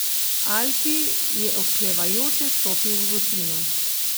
Alfi je oklevajoče stopil v votlino.